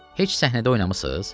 Heç səhnədə oynamısız?